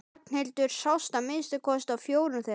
Ragnhildur sást að minnsta kosti á fjórum þeirra.